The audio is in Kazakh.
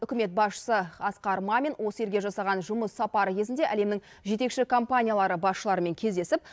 үкімет басшысы асқар мамин осы елге жасаған жұмыс сапары кезінде әлемнің жетекші компаниялары басшыларымен кездесіп